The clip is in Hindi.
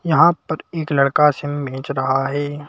यहां पर एक लड़का सिम बेंच रहा है।